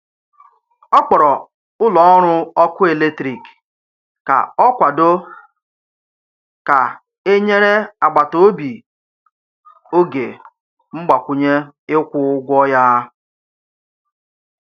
Ọ kpọrọ ụlọ ọrụ ọkụ eletrik ka ọ kwado ka e nyere agbata obi oge mgbakwunye ịkwụ ụgwọ ya.